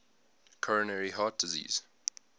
coronary heart disease